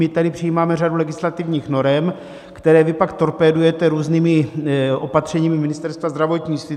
My tady přijímáme řadu legislativních norem, které vy pak torpédujete různými opatřeními Ministerstva zdravotnictví.